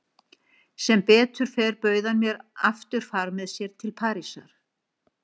Sem betur fer bauð hann mér aftur far með sér til Parísar.